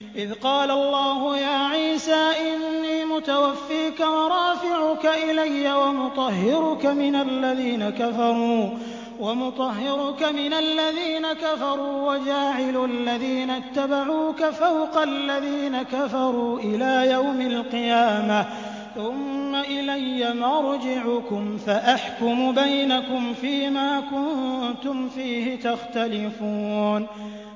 إِذْ قَالَ اللَّهُ يَا عِيسَىٰ إِنِّي مُتَوَفِّيكَ وَرَافِعُكَ إِلَيَّ وَمُطَهِّرُكَ مِنَ الَّذِينَ كَفَرُوا وَجَاعِلُ الَّذِينَ اتَّبَعُوكَ فَوْقَ الَّذِينَ كَفَرُوا إِلَىٰ يَوْمِ الْقِيَامَةِ ۖ ثُمَّ إِلَيَّ مَرْجِعُكُمْ فَأَحْكُمُ بَيْنَكُمْ فِيمَا كُنتُمْ فِيهِ تَخْتَلِفُونَ